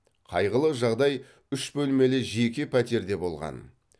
қайғылы жағдай үш бөлмелі жеке пәтерде болған